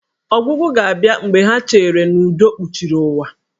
Ọgwụgwụ ga-abịa mgbe ha cheere n'udo kpuchiri ụwa.